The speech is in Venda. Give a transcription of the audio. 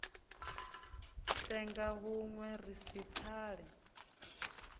senga hunwe ri si pfale